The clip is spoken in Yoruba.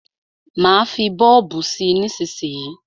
Má fí bọ́ọ̀bù sí nísísíyí.